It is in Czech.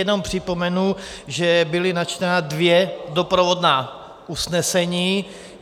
Jenom připomenu, že byla načtena dvě doprovodná usnesení.